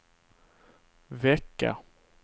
vecka